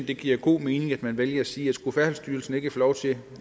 det giver god mening at man vælger at sige at skulle færdselsstyrelsen ikke få lov til